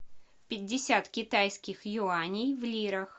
пятьдесят китайских юаней в лирах